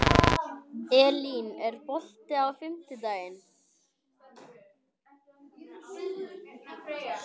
Elín, er bolti á fimmtudaginn?